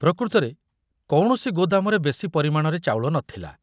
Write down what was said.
ପ୍ରକୃତରେ କୌଣସି ଗୋଦାମରେ ବେଶି ପରିମାଣରେ ଚାଉଳ ନଥିଲା।